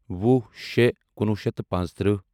وُہ شےٚ کُنوُہ شیٚتھ تہٕ پانٛژتٕرہہ